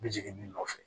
N bɛ jigin min nɔfɛ